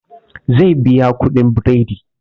Zai biya kuɗin biredi